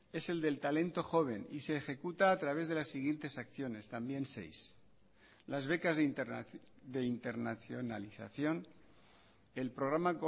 es el del talento joven y se ejecuta a través de las siguientes acciones también seis las becas de internacionalización el programa